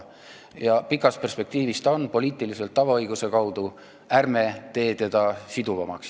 Ja pikas perspektiivis ta on seda poliitiliselt tavaõiguse kaudu, ärme teeme teda siduvamaks.